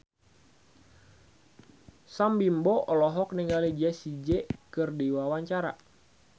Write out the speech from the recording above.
Sam Bimbo olohok ningali Jessie J keur diwawancara